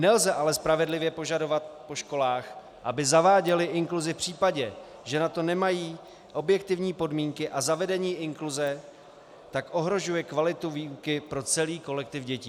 Nelze ale spravedlivě požadovat po školách, aby zaváděly inkluzi v případě, že na to nemají objektivní podmínky, a zavedení inkluze tak ohrožuje kvalitu výuky pro celý kolektiv dětí.